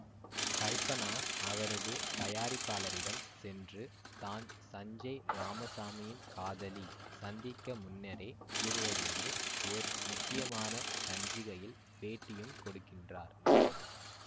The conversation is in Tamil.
கல்பனா அவரது தயாரிப்பாளரிடம் சென்று தான் சஞ்சேய் இராமசாமியின் காதலி சந்திக்க முன்னரே கூறுவதோடு ஓர் முக்கியமான சஞ்சிகையில் பேட்டியும் கொடுக்கின்றார்